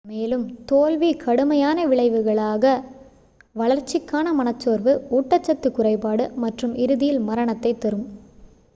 மேலும் தோல்வி கடுமையான விளைவுகளாக வளர்ச்சிக்கான மனசோர்வு ஊட்டச்சத்து குறைபாடு மற்றும் இறுதியில் மரணத்தை தரும்